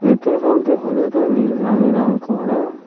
Petrol পাম্পটি হলুদ ও নীল রঙে রং করা।